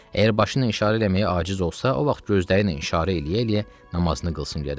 Əgər başı ilə işarə eləməyə aciz olsa, o vaxt gözləri ilə işarə eləyə-eləyə namazını qılsın gərək.